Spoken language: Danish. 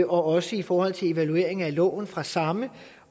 også i forhold til evalueringen af loven fra samme